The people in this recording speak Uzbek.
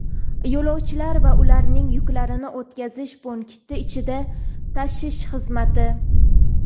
Yo‘lovchilar va ularning yuklarini o‘tkazish punkti ichida tashish xizmati.